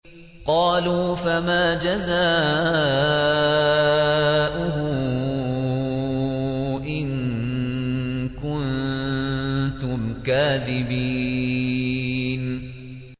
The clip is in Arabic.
قَالُوا فَمَا جَزَاؤُهُ إِن كُنتُمْ كَاذِبِينَ